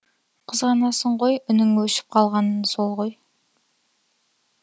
қызғанасың ғой үнің өшіп қалғаны сол ғой